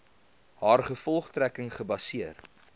haar gevolgtrekking gebaseer